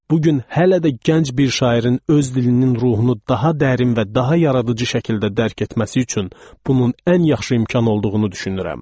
Bugün hələ də gənc bir şairin öz dilinin ruhunu daha dərin və daha yaradıcı şəkildə dərd etməsi üçün bunun ən yaxşı imkan olduğunu düşünürəm.